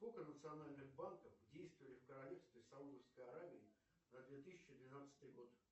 сколько национальных банков действовали в королевстве саудовской аравии на две тысячи двенадцатый год